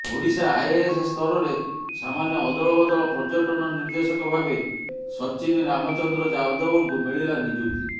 Odisha IAS ସ୍ତରରେ ସାମାନ୍ୟ ଅଦଳବଦଳ ପର୍ଯ୍ୟଟନ ନିର୍ଦ୍ଦେଶକ ଭାବେ ସଚିନ ରାମଚନ୍ଦ୍ର ଯାଦବଙ୍କୁ ମିଳିଲା ନିଯୁକ୍ତି